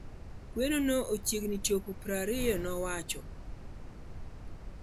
kweno no ochiegni chopo prariyo', nowacho